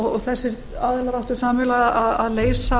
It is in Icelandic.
og þessir aðilar áttu sameiginlega að leysa